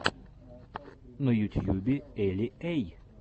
на ютьюбе эли эй